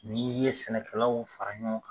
N'i ye sɛnɛkɛlaw fara ɲɔgɔn